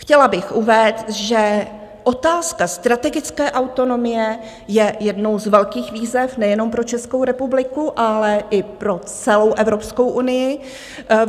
Chtěla bych uvést, že otázka strategické autonomie je jednou z velkých výzev nejenom pro Českou republiku, ale i pro celou Evropskou unii.